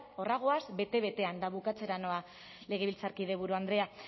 horra goaz bete betean eta bukatzera noa legebiltzarkide buru andrea